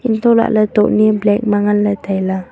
antoh lah ley tokni black ma ngan le tailey.